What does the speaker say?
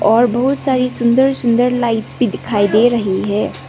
और बहुत सारी सुंदर सुंदर लाइट्स भी दिखाई दे रही है।